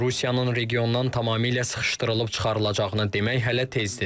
Lakin Rusiyanın regiondan tamamilə sıxışdırılıb çıxarılacağını demək hələ tezdir.